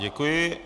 Děkuji.